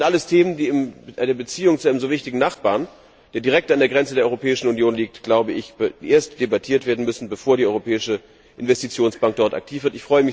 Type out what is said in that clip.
Das sind alles Themen, die in einer Beziehung zu einem so wichtigen Nachbarn, der direkt an der Grenze der Europäischen Union liegt, erst debattiert werden müssen, bevor die Europäische Investitionsbank dort aktiv wird.